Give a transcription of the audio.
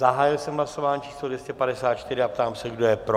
Zahájil jsem hlasování číslo 254 a ptám se, kdo je pro?